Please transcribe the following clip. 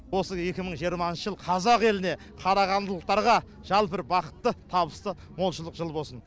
осы екі мың жиырмасыншы жыл қазақ еліне қарағандылықтарға жалпы бір бақытты табысты молшылық жылы болсын